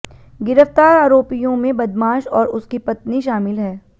गिरफ्तार आरोपियों में बदमाश और उसकी पत्नी शामिल है